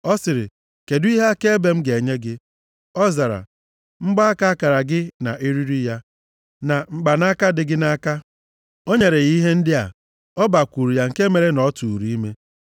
Ọ sịrị, “Kedụ ihe akaebe m ga-enye gị?” Ọ zara, “Mgbaaka akara gị na eriri ya, na mkpanaka dị gị nʼaka.” O nyere ya ihe ndị a. Ọ bakwuru ya nke mere na ọ tụụrụ ime.